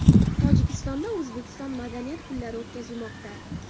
Tojikistonda O‘zbekiston madaniyat kunlari o‘tkazilmoqda .